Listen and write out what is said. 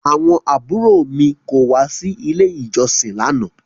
Àwọn àbúrò mi kò wá sí ilé ìjọsìn lánàá